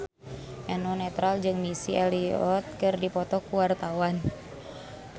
Eno Netral jeung Missy Elliott keur dipoto ku wartawan